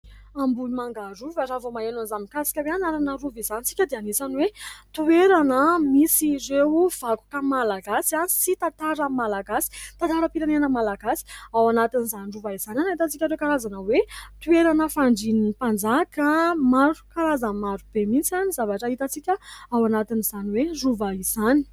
Ambohimanga rova raha vao maheno an'izany mikasika ny anarana rova izany isika dia anisany hoe toerana misy ireo vakoka malagasy sy tantara malagasy, tantaram-pirenena malagasy. Ao anatin'izany rova izany no ahitantsika ireo karazana hoe toerana fandrian'ny mpanjaka ; maro karazana maro be mihitsy ny zavatra hitantsika ao anatin'izany hoe rova izany.